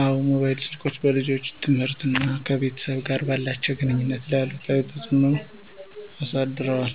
አዎ፣ ሞባይል ስልኮች በልጆች ትምህርትና ከቤተሰብ ጋር ባላቸው ግንኙነት ላይ አሉታዊ ተጽዕኖ አሳድረዋል።